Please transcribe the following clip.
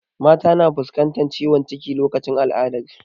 Mata na fuskantar ciwon ciki lokacin al'adar su